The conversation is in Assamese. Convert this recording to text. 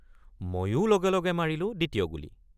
ময়ো লগে লগে মাৰিলোঁ দ্বিতীয় গুলী।